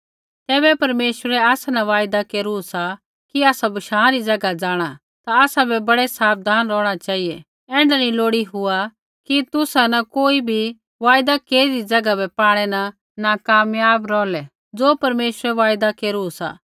तैबै परमेश्वरै आसा न वायदा केरू सा कि आसै बशाँ री ज़ैगा जाँणा ता आसाबै बड़ै साबधान रौहणा चेहिऐ ऐण्ढा नी लोड़ी हुआ कि तुसा न कोई बी वायदा केरदी ज़ैगा बै पाणै न नाकामयाब रौहलै ज़ो परमेश्वरै वायदा केरू सा